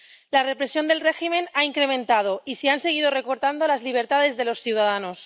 La represión del régimen se ha incrementado y se han seguido recortando las libertades de los ciudadanos.